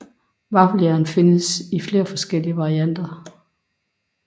Vaffeljern findes i flere forskellige varianter